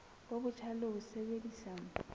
bo botjha le ho sebedisa